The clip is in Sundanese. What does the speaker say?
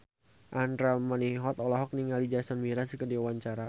Andra Manihot olohok ningali Jason Mraz keur diwawancara